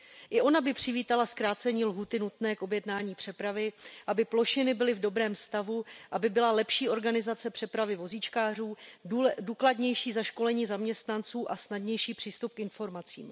I ona by přivítala zkrácení lhůty nutné k objednání přepravy, aby plošiny byly v dobrém stavu, aby byla lepší organizace přepravy vozíčkářů, důkladnější zaškolení zaměstnanců a snadnější přístup k informacím.